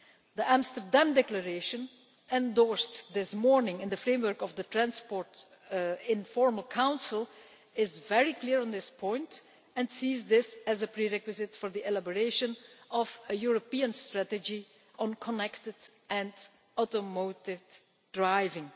The Amsterdam Declaration endorsed this morning in the framework of the Transport Informal Council is very clear on this point and sees this as a prerequisite for the elaboration of a European strategy on connected and automated driving.